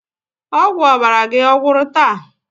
Ọgwụ ọbara gị ọ̀gwụ́rụ taa?